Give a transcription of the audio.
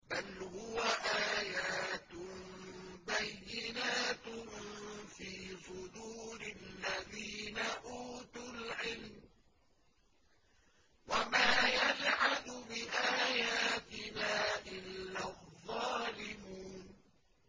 بَلْ هُوَ آيَاتٌ بَيِّنَاتٌ فِي صُدُورِ الَّذِينَ أُوتُوا الْعِلْمَ ۚ وَمَا يَجْحَدُ بِآيَاتِنَا إِلَّا الظَّالِمُونَ